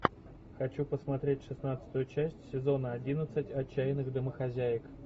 хочу посмотреть шестнадцатую часть сезона одиннадцать отчаянных домохозяек